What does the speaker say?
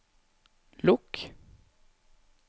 lukk